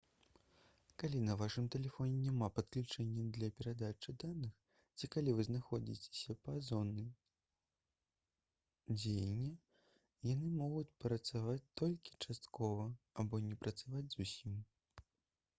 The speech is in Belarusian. калі на вашым тэлефоне няма падключэння для перадачы даных ці калі вы знаходзіцеся па-за зонай дзеяння яны могуць працаваць толькі часткова або не працаваць зусім